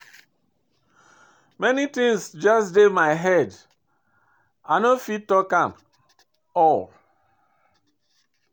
Many things just dey my head, i no fit talk am all.